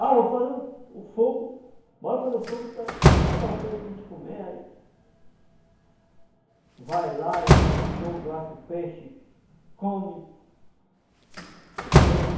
Ah, eu vou fazer o o fogo, bora fazer o fogo para assar o peixe para gente comer, aí... Vai lá e faz o fogo, assa o peixe, come o peixe,